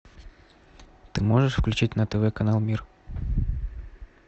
ты можешь включить на тв канал мир